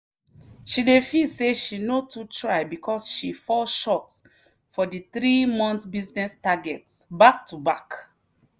she dey feel say she no too try because she fall short for the three-month business target back to back.